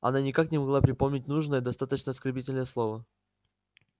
она никак не могла припомнить нужное достаточно оскорбительное слово